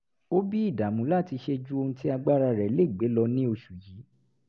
ó bí ìdàmú láti ṣe ju ohun tí agbára rẹ̀ lè gbé lọ ní oṣù yìí